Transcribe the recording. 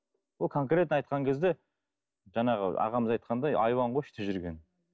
ол конкретно айтқан кезде жаңағы ағамыз айтқандай айуан ғой іште жүрген